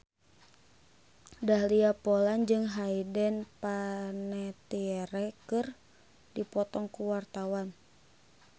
Dahlia Poland jeung Hayden Panettiere keur dipoto ku wartawan